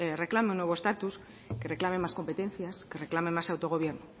reclame un nuevo estatus que reclame más competencias que reclame más autogobierno